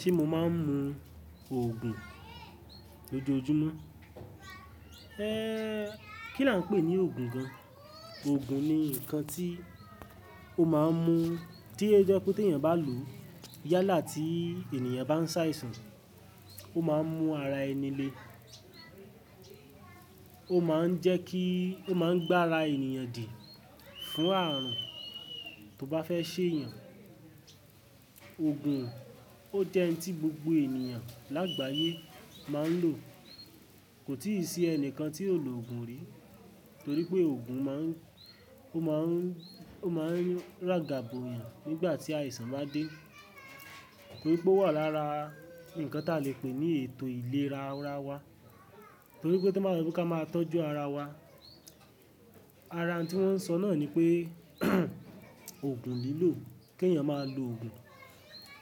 Ṣe mo máa ń mu òògùn lójoojúmọ́? Kí là ń pè ní òògùn gan-an? Òògùn ni nǹkan tí o máa ń mu, tí ó jẹ́ pé tí èèyàn bá lòó, yálà tí ènìyàn bá ń ṣàìsàn, ó máa ń mú ara ẹni le. Ó máa ń jẹ́ kí, ó máa ń gbá ara ènìyàn dì fún ààrùn tó bá fẹ́ ṣe èèyàn. Òògùn ó jẹ́ un tí gbogbo ènìyàn lágbàyé máa ń lò. Kò tíì sí ẹnìkan tí ò lò ògùn rí, torípé ògùn má ń, ó má ń, ó má ń ràgàbò yàn nígbà tí àìsàn bá dé. Torí pé ó wà lára nǹkan tí a lè pè ní ètò ìlera ara wa. Torí pé tó ma ye pe ka máa tọ́jú ara wa. Ara un tí wọ́n ń sọ náà ni pé òògùn lílò, ke èèyàn máa lo òògùn.